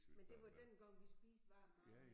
Men det var dengang vi spiste varm mad om